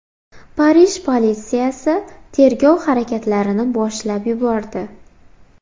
Parij politsiyasi tergov harakatlarini boshlab yubordi.